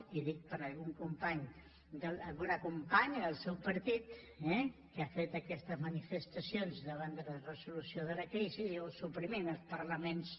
i ho dic per algun company alguna companya del seu partit eh que ha fet aquestes manifestacions davant de la resolució de la crisi diu suprimim els parlaments